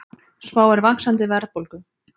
Spáir vaxandi verðbólgu